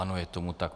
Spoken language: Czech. Ano, je tomu tak.